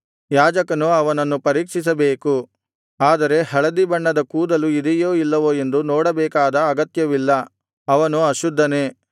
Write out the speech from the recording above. ಯಾಜಕನು ಅವನನ್ನು ಪರೀಕ್ಷಿಸಬೇಕು ಆದರೆ ಹಳದಿಬಣ್ಣದ ಕೂದಲು ಇದೆಯೋ ಇಲ್ಲವೋ ಎಂದು ನೋಡಬೇಕಾದ ಅಗತ್ಯವಿಲ್ಲ ಅವನು ಅಶುದ್ಧನೇ